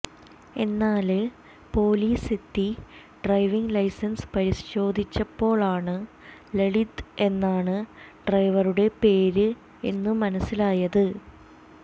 എന്നാല് പോലീസെത്തി driving licence പരിശോധിച്ചപ്പോഴാണ് ലളിത് എന്നാണ് ഡ്രൈവറുടെ പേര് എന്ന് മനസിലായത്